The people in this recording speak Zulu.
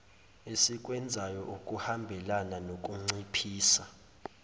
esikwenzayo okuhambelana nokunciphisa